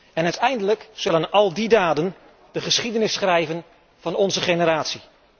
En uiteindelijk zullen al die daden de geschiedenis schrijven van onze generatie.